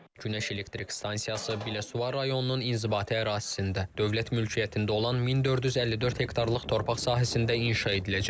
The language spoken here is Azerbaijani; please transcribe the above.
Günəş elektrik stansiyası Biləsuvar rayonunun inzibati ərazisində Dövlət mülkiyyətində olan 1454 hektarlıq torpaq sahəsində inşa ediləcək.